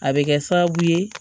A bɛ kɛ sababu ye